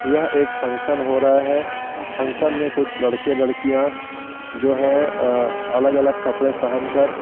यह एक फंक्शन हो रहा है फंक्शन में कुछ लड़के लड़किया जो है अ अलग अलग कपडे पहन कर --